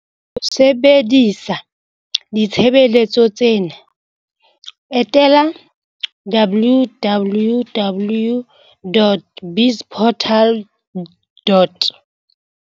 Ho sebedisa ditshebeletso tsena, etela www.bizportal.